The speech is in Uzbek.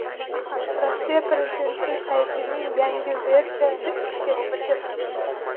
Rossiya prezidenti saytining yangi versiyasi ishga tushdi.